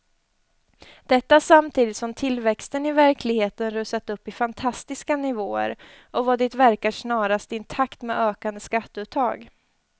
Detta samtidigt som tillväxten i verkligheten rusat upp i fantastiska nivåer och vad det verkar snarast i takt med ökande skatteuttag.